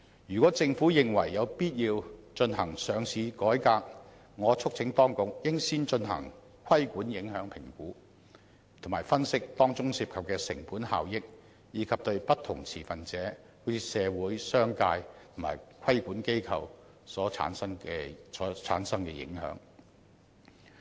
如果政府認為有必要進行上市改革，我促請當局應先進行規管影響評估，並分析當中涉及的成本效益，以及對不同持份者如社會、商界及規管機構所產生的影響。